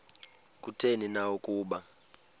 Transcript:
kutheni na ukuba